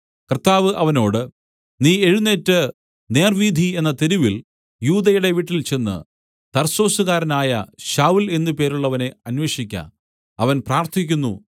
കർത്താവ് അവനോട് നീ എഴുന്നേറ്റ് നേർവ്വീഥി എന്ന തെരുവിൽ യൂദയുടെ വീട്ടിൽചെന്ന് തർസൊസുകാരനായ ശൌല്‍ എന്നു പേരുള്ളവനെ അന്വേഷിക്ക അവൻ പ്രാർത്ഥിക്കുന്നു